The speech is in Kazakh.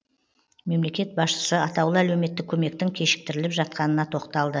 мемлекет басшысы атаулы әлеуметтік көмектің кешіктіріліп жатқанына тоқталды